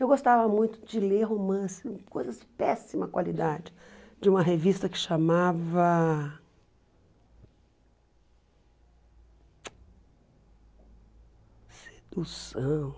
Eu gostava muito de ler romances, coisas de péssima qualidade, de uma revista que chamava... Sedução.